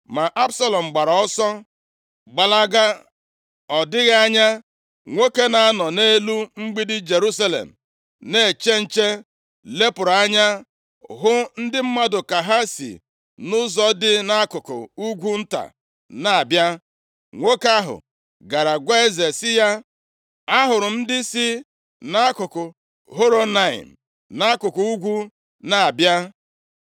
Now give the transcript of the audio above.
Ma Absalọm gbara ọsọ gbalaga. Ọ dịghị anya nwoke na-anọ nʼelu mgbidi Jerusalem na-eche nche, lepụrụ anya hụ ndị mmadụ ka ha si nʼụzọ dị nʼakụkụ ugwu nta na-abịa. Nwoke ahụ gara gwa eze sị ya, “Ahụrụ m ndị si nʼakụkụ Horonaim, nʼakụkụ ugwu na-abịa.”